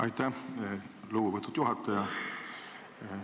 Aitäh, lugupeetud juhataja!